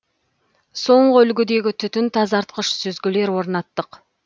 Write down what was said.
соңғы үлгідегі түтін тазартқыш сүзгілер орнаттық